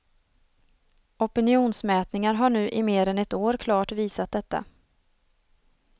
Opinionsmätningar har nu i mer än ett år klart visat detta.